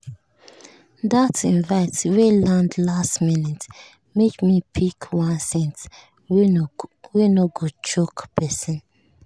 that invite wey land last minute make me pick one scent wey no go choke person.